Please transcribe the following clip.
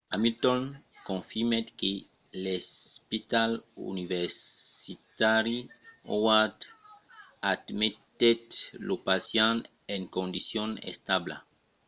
hamilton confirmèt que l'espital universitari howard admetèt lo pacient en condicion establa